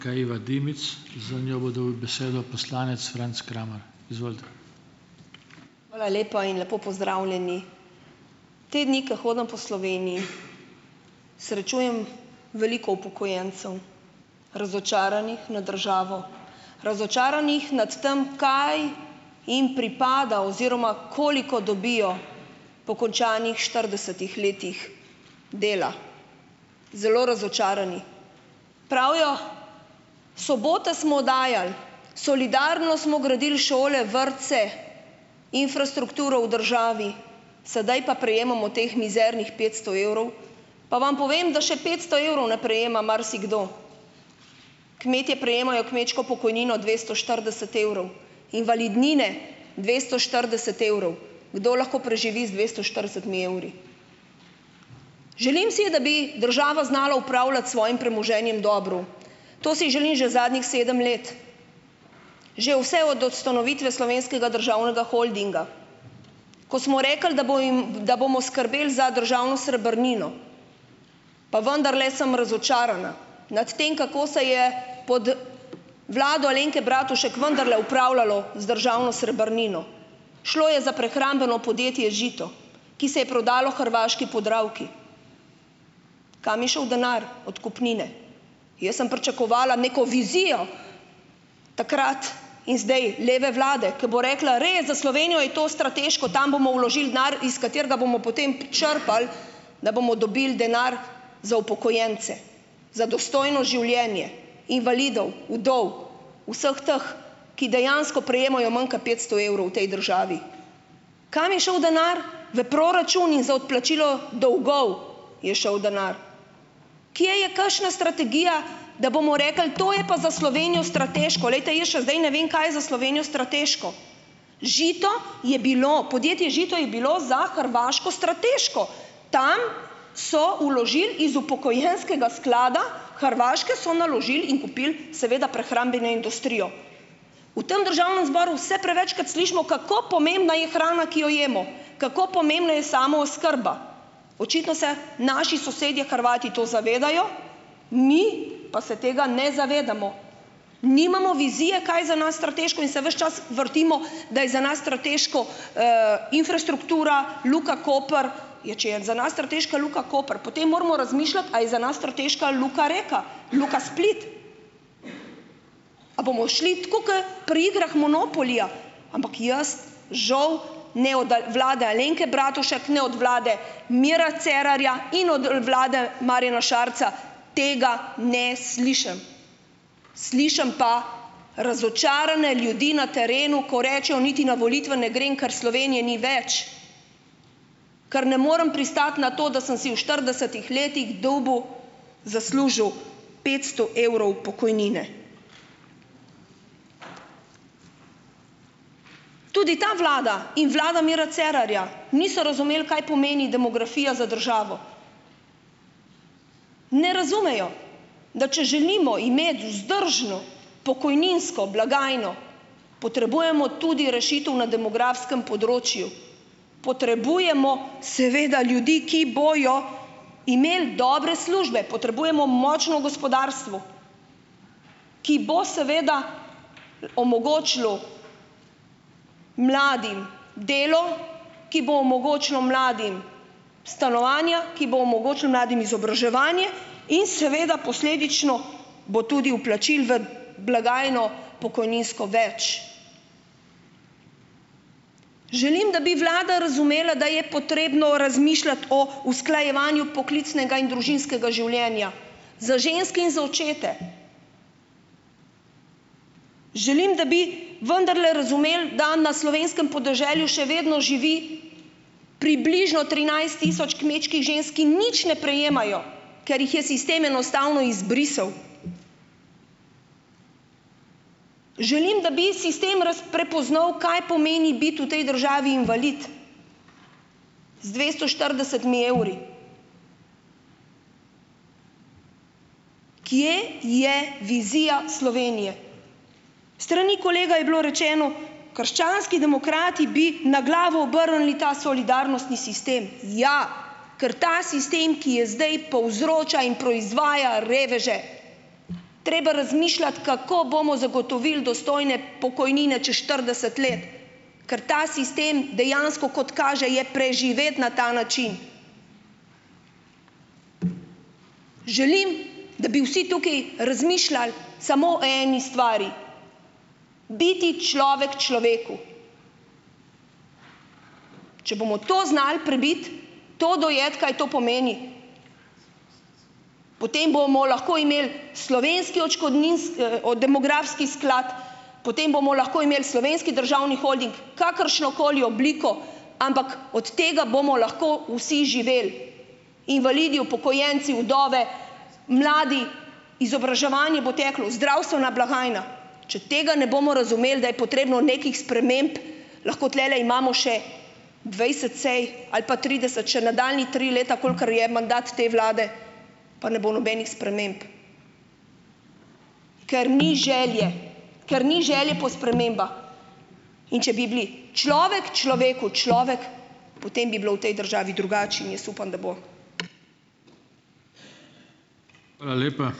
Hvala lepa in lepo pozdravljeni. Te dni, ko hodim po Sloveniji, srečujem veliko upokojencev, razočaranih nad državo, razočaranih nad tem, kaj jim pripada oziroma koliko dobijo po končanih štiridesetih letih dela, zelo razočarani. Pravijo, sobote smo dajali, solidarno smo gradili šole, vrtce, infrastrukturo v državi, sedaj pa prejemamo teh mizernih petsto evrov. Pa vam povem, da še petsto evrov ne prejema marsikdo. Kmetje prejemajo kmečko pokojnino dvesto štirideset evrov, invalidnine dvesto štirideset evrov. Kdo lahko preživi z dvesto štiridesetimi evri? Želim si, da bi država znala upravljati s svojim premoženjem dobro. To si želim že zadnjih sedem let, že vse od ustanovitve Slovenskega državnega holdinga, ko smo rekli, da bo jim, da bomo skrbeli za državno srebrnino, pa vendarle sem razočarana nad tem, kako se je pod vlado Alenke Bratušek vendarle upravljalo z državno srebrnino. Šlo je za prehrambno podjetje Žito, ki se je prodalo hrvaški Podravki. Kam je šel denar od kupnine? Jaz sem pričakovala neko vizijo takrat in zdaj leve vlade, ki bo rekla: "Res, za Slovenijo je to strateško, tam bomo vložil denar, iz katerega bomo potem črpali, da bomo dobili denar za upokojence, za dostojno življenje invalidov, vdov, vseh teh, ki dejansko prejemajo manj kot petsto evrov v tej državi." Kam je šel denar? V proračun in za odplačilo dolgov je šel denar. Kje je kakšna strategija, da bomo rekli: "To je pa za Slovenijo strateško." Poglejte, jaz še zdaj ne vem, kaj je za Slovenijo strateško. Žito je bilo, podjetje Žito je bilo za Hrvaško strateško. Tam so vložili iz upokojenskega sklada Hrvaške, so naložili in kupili seveda prehrambeno industrijo. V tem državnem zboru vse prevečkrat slišimo, kako pomembna je hrana, ki jo imel, kako pomembna je samooskrba. Očitno se naši sosedje Hrvati to zavedajo, mi pa se tega ne zavedamo. Nimamo vizije, kaj je za nas strateško, in se ves čas vrtimo, da je za nas strateško, infrastruktura, Luka Koper. Ja, če je za nas strateška Luka Koper, potem moramo razmišljati, a je za nas strateška Luka Reka, Luka Split. A bomo šli tako kot pri igrah Monopolija, ampak jaz žal ne od vlade Alenke Bratušek ne od vlade Mira Cerarja in od vlade Marjana Šarca tega ne slišim. Slišim pa razočarane ljudi na terenu, ko rečejo, niti na volitve ne grem, ker Slovenije ni več, ker ne morem pristati na to, da sem si v štiridesetih letih dobil, zaslužil petsto evrov pokojnine. Tudi ta vlada in vlada Mira Cerarja niso razumeli, kaj pomeni demografija za državo. Ne razumejo, da če želimo imeti vzdržno pokojninsko blagajno, potrebujemo tudi rešitev na demografskem področju, potrebujemo seveda ljudi, ki bojo imeli dobre službe, potrebujemo močno gospodarstvo, ki bo seveda omogočilo mladim delo, ki bo omogočilo mladim stanovanja, ki bo omogočilo mladim izobraževanje in seveda posledično bo tudi vplačil v blagajno pokojninsko več. Želim, da bi vlada razumela, da je potrebno razmišljati o usklajevanju poklicnega in družinskega življenja, za ženske in za očete. Želim, da bi vendarle razumeli, da na slovenskem podeželju še vedno živi približno trinajst tisoč kmečkih žensk, ki nič ne prejemajo, ker jih je sistem enostavno izbrisal. Želim, da bi sistem prepoznal, kaj pomeni biti v tej državi invalid z dvesto štiridesetimi evri. Kje je vizija Slovenije? S strani kolega je bilo rečeno, krščanski demokrati bi na glavo obrnili ta solidarnostni sistem. Ja, ker ta sistem, ki je zdaj, povzroča in proizvaja reveže. Treba razmišljati, kako bomo zagotovili dostojne pokojnine čez štirideset let, ker ta sistem dejansko kot kaže, je preživet na ta način. Želim, da bi vsi tukaj razmišljal samo o eni stvari, biti človek človeku. Če bomo to znal prebiti, to dojeti, kaj to pomeni, potem bomo lahko imel slovenski demografski sklad, potem bomo lahko imeli Slovenski državni holding, kakršnokoli obliko, ampak od tega bomo lahko vsi živeli, invalidi, upokojenci, vdove, mladi, izobraževanje bo teklo, zdravstvena blagajna. Če tega ne bomo razumeli, da je potrebno nekih sprememb, lahko tulele imamo še dvajset sej ali pa trideset, še nadaljnja tri leta, kolikor je mandat te vlade, pa ne bo nobenih sprememb, ker ni želje. Ker ni želje po spremembah. In če bi bili človek človeku človek, potem bi bilo v tej državi drugače in jaz upam, da bo.